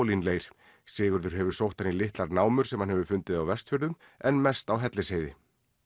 kaolínleir Sigurður hefur sótt þær í litlar námur sem hann hefur fundið á Vestfjörðum en mest á Hellisheiði